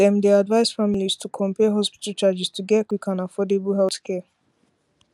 dem dey advise families to compare hospital charges to get quick and affordable healthcare